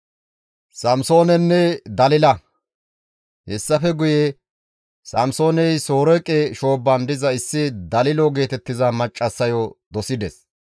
Hessafe guye Samsooney Soreeqe shoobban diza issi Dalilo geetettiza maccassayo dosides.